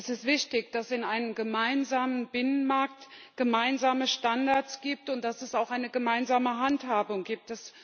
Es ist wichtig, dass es in einem gemeinsamen Binnenmarkt gemeinsame Standards gibt und dass es auch eine gemeinsame Handhabung gibt.